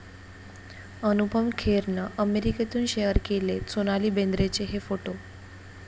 अनुपम खेरनं अमेरिकेतून शेअर केलेत सोनाली बेंद्रेचे हे फोटो